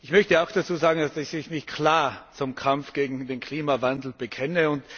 Ich möchte auch dazu sagen, dass ich mich klar zum Kampf gegen den Klimawandel bekenne.